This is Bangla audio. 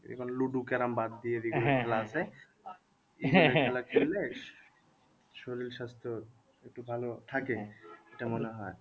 এবার ludo carrom বাদ দিয়ে শরীর স্বাস্থ্য একটু ভালো থাকে এটা মনে হয়।